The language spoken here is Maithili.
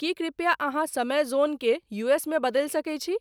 की कृपया अहाँसमय जोन के यूएस में बदैल सके छी